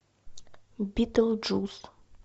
битлджус